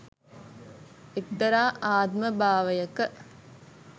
එක්තරා ආත්මභාවයක